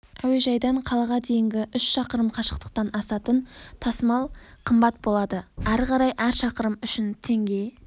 әуежайдан қалаға дейінгі үш шақырым қашықтықтан асатын тасымал қымбат болады ары қарай әр шақырым үшін теңге